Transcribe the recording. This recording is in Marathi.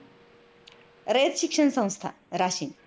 रयत शिक्षण संस्था, राशीन